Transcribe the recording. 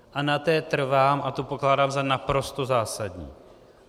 A na té trvám a tu pokládám za naprosto zásadní.